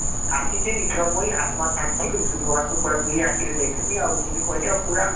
ଆସିଚେ ଏଥର ମୁଇଁ ଆତ୍ମା ଶାନ୍ତି କରି ଭଗବାନ ଙ୍କୁ ପୁରା ଦୁଇ ଆଖିରେ ଦେଖଃମି ଆଉ ଜିମି କହିଲି ଆଉ ପୁରା ବହୁତ